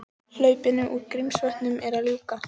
Hlaupinu úr Grímsvötnum er að ljúka